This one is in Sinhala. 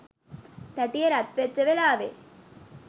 තැටිය රත් වෙච්ච වෙලාවේ